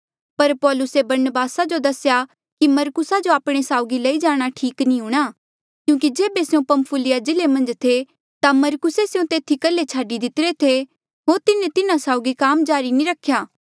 पर पौलुसे बरनबासा जो दसेया कि मरकुसा जो आपणे साउगी लई जाणा ठीक नी हूंणां क्यूंकि जेबे स्यों पंफुलिया जिल्ले मन्झ थे ता मरकुसे स्यों तेथी कल्हे छाडी दितिरे थे होर तिन्हें तिन्हा साउगी काम जारी नी रख्या